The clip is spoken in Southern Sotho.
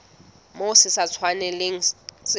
moo se sa tshwanelang se